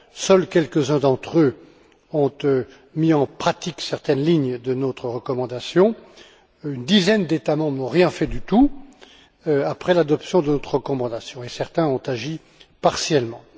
Seuls quelques uns d'entre eux ont mis en pratique certaines lignes de notre recommandation, une dizaine d'États membres n'ont rien fait du tout après l'adoption de ce texte, et certains ont agi partiellement.